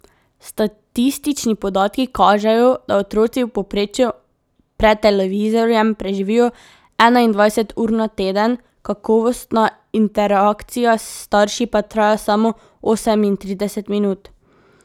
Statistični podatki kažejo, da otroci v povprečju pred televizorjem preživijo enaindvajset ur na teden, kakovostna interakcija s starši pa traja samo osemintrideset minut.